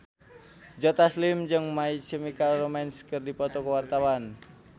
Joe Taslim jeung My Chemical Romance keur dipoto ku wartawan